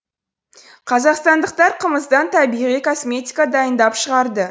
қазақстандықтар қымыздан табиғи косметика дайындап шығарды